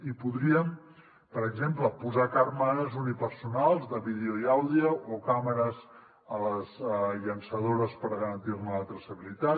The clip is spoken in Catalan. i podríem per exemple posar càmeres unipersonals de vídeo i àudio o càmeres a les llançadores per garantir ne la traçabilitat